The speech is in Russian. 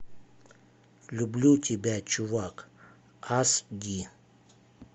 люблю тебя чувак ас ди